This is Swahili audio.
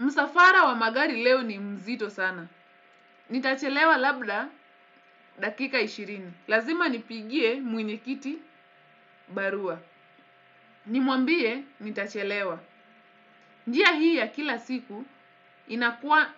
Msafara wa magari leo ni mzito sana. Nitachelewa labda dakika ishirini. Lazima nipigie mwenyekiti barua. Nimwambie nitachelewa. Njia hii ya kila siku inakua